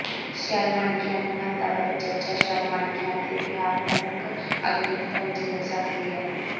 shell ਮਣਕਿਆਂ ਦੀ ਮਹੱਤਤਾ ਬਾਰੇ ਚਰਚਾ ਸ਼ੈੱਲ ਮਣਕਿਆਂ ਅਤੇ ਵਿਹਾਰਤਮਿਕ ਆਧੁਨਿਕਤਾ ਵਿਚ ਮਿਲ ਸਕਦੀ ਹੈ